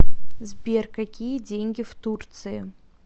сбер какие деньги в турции